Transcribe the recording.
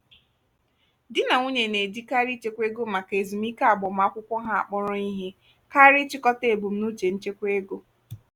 di na nwunye na-ejikarị ịchekwa ego maka ezumike agbamakwụkwọ ha akpọrọ ihe karịa ịchịkọta ebumnuche nchekwa ego.